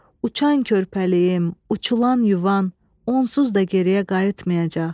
Uçan körpəliyim, uçulan yuvan onsuz da geriyə qayıtmayacaq.